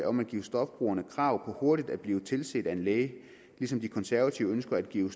om at give stofbrugerne krav på hurtigt at blive tilset af en læge ligesom de konservative ønsker at give